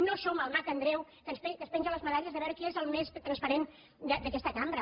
no som el mag andreu que es penja les medalles de veure qui és el més transparent d’aquesta cambra